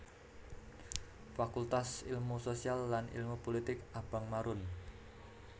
Fakultas Ilmu Sosial lan Ilmu Pulitik abang marun